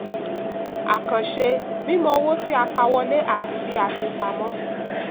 àkànṣe: mímọ owó tí a pa wọlé àti bí a fi pamọ́.